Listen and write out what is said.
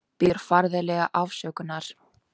Biður ferðafélaga afsökunar